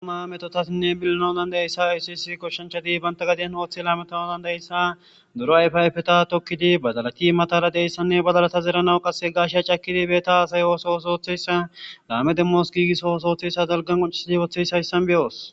ama metotasinne billano dandayeyssa isiisi koshshanchadibanta gadiyen ooththi laameton dandayeyssa duro ayfayfeta tokkidi badalati matara deyssanne badalata zeranawu qasse gaashea cakkidi beeta aasay ooso osooththeyssa laame demmos giigiso osooththeyssa dalgan qoncisidi ooththeyshayssan beyoos